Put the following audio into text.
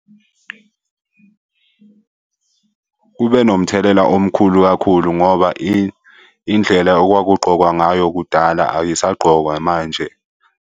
Kube nomthelela omkhulu kakhulu ngoba indlela okwakugqokwa ngayo kudala ayisagqokwa manje.